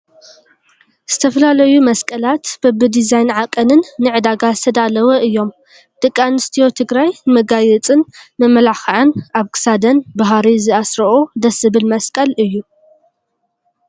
ዝተፈላለዩ መስቀላት በቢድዛይንን ዓቀንን ንዕዳጋ ዝተዳለው እዮም። ደቂ ኣንስትዮ ትግራይ ንመጋየፅን መመላክዕን ኣብ ክሳደን ብሃሪ ዝአስርኦ ደስ ዝብል መስቀል እዩ።